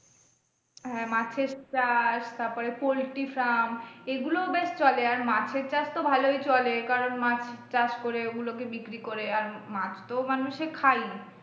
হ্যাঁ মাছের চাষ তারপরে poultry farm এগুলো বেশ চলে আর মাছের চাষ তো ভালোই চলে কারন মাছ চাষ করে ওগুলো কে বিক্রি করে আর মাছ তো মানুষে খায়ই।